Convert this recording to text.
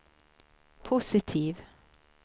positiv